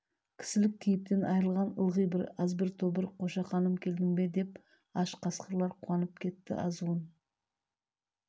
кісілік кейіптен айрылған ылғи бір азғын тобыр қошақаным келдің бе деп аш қасқырлар қуанып кетті азуын